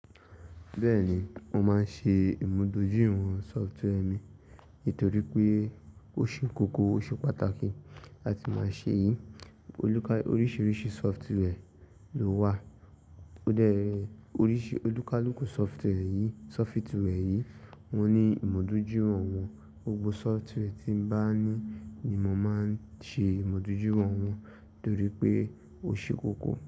Bẹ́ẹ̀ni, mo máa ń ṣe ìmúdójúìwọ̀n sọfitwẹẹrì mi nítorí pé ó ṣe kókó, ó ṣe pàtàkì láti máa ṣe yìí. Oríṣiríṣi software ló wà. Ó dẹrè, oríṣi, olúkalúkù software yìí, sọfitiwie yìí wọ́n ní ìmúdójúìwọ̀n wọn. Gbogbo software tí n bá ní ni mo máa ń ṣe ìmúdójúìwọ̀n wọ́n nítorí pé ó ṣe kókó.